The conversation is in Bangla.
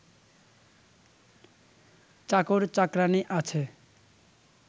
চাকর চাকরানী আছে